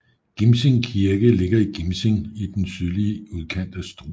Gimsing Kirke ligger i Gimsing i den sydlige udkant af Struer